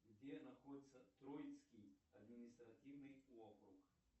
где находится троицкий административный округ